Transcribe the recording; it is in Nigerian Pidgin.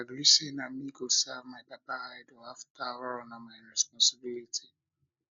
i agree say na me go serve my papa idol after all na my responsibility